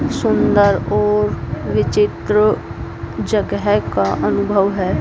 सुंदर और विचित्र जगह का अनुभव है।